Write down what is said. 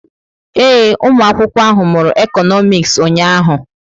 Ee, ụmụ akwụkwọ ahụ mụrụ Ekonomis ụnyaahụ.